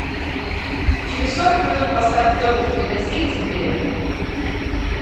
через сорок минут поставь в домике для гостей теплее